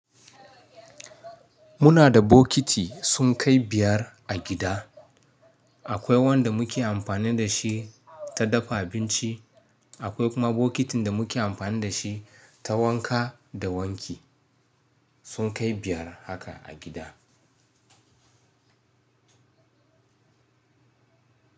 Muna da bokiti sun kai biyar a gida. Akwai wanda muke amfani da shi ta dafa abinci. Akwai kuma bokitin da muke amfani da shi ta wanka da wanki. Sun kai biyar haka a gida.